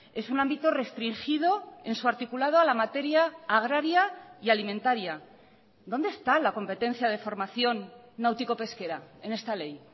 es un ámbito restringido en su articulado a la materia agraria y alimentaria dónde está la competencia de formación náutico pesquera en esta ley